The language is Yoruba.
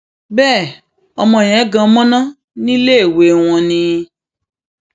bẹẹ ọmọ yẹn gan mọnà níléèwé wọn ni